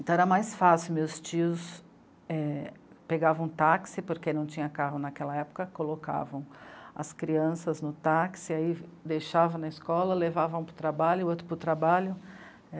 Então era mais fácil, meus tios, é... pegavam um táxi, porque não tinha carro naquela época, colocavam as crianças no táxi, aí deixavam na escola, levavam um para o trabalho, o outro para o trabalho.